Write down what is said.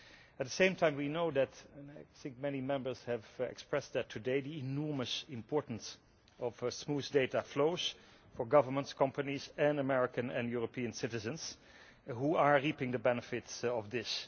At the same time we know and I think that many Members have expressed this today the enormous importance of smooth data flows for governments, companies and American and European citizens, who are reaping the benefits of this.